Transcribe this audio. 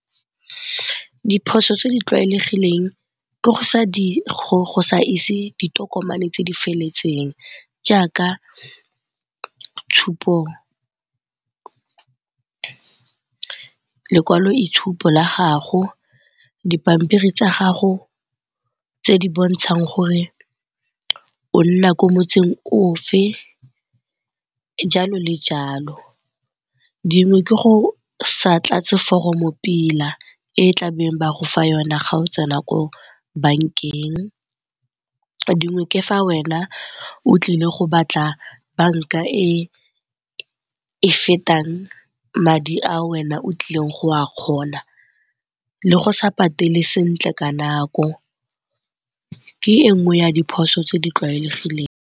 Diphoso tse di tlwaelegileng ke go sa ise ditokomane tse di feletseng jaaka lekwaloitshupo la gago, dipampiri tsa gago tse di bontshang gore o nna ko motseng o fe, jalo le jalo. Dingwe ke go sa tlatse foromo pila e tlabeng ba go fa yona ga o tsena ko bankeng, dingwe ke fa wena o tlile go batla banka e e fetang madi a wena o tlileng go a kgona le go sa patele sentle ka nako ke e nngwe ya diphoso tse di tlwaelegileng.